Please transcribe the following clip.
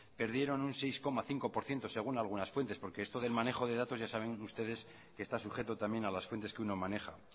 perdieron un seis coma cinco por ciento según algunas fuentes porque esto del manejo de datos ya saben ustedes que está sujeto también a las fuentes que uno maneja